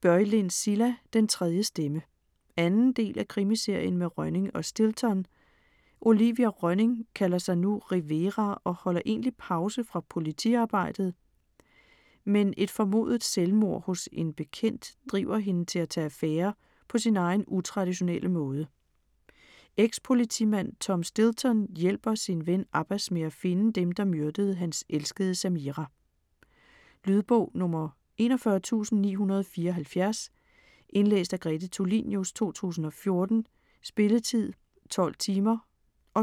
Börjlind, Cilla: Den tredje stemme 2. del af Krimiserien med Rönning og Stilton. Olivia Rönning kalder sig nu Rivera og holder egentlig pause fra politiarbejdet. Men et formodet selvmord hos en bekendt driver hende til at tage affære på sin egen utraditionelle måde. Ex-politimand Tom Stilton hjælper sin ven Abbas med at finde dem, der myrdede hans elskede Samira. Lydbog 41974 Indlæst af Grete Tulinius, 2014. Spilletid: 12 timer,